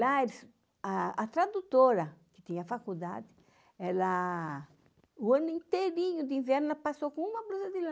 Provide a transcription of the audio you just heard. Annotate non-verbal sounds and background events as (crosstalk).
Lá, (unintelligible) a a tradutora, que tinha faculdade, ela, o ano inteirinho de inverno, ela passou com uma blusa de lã.